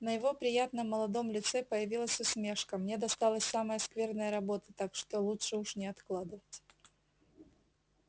на его приятном молодом лице появилась усмешка мне досталась самая скверная работа так что лучше уж не откладывать